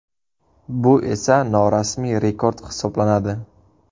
Bu esa norasmiy rekord hisoblanadi.